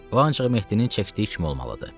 O ancaq Mehdinin çəkdiyi kimi olmalıdır.